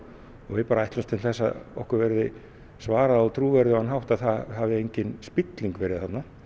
og við ætlumst til þess að okkur verði svarað á trúverðugan hátt að það hafi engin spilling verið þarna